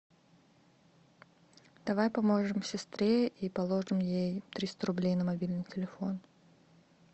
давай поможем сестре и положим ей триста рублей на мобильный телефон